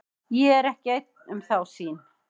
Ég er ekki einn um þá sýn.